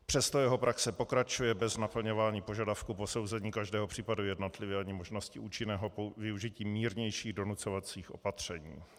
Přesto jeho praxe pokračuje bez naplňování požadavku posouzení každého případu jednotlivě ani možnosti účinného využití mírnějších donucovacích opatření.